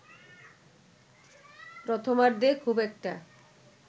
প্রথমার্ধে খুব একটা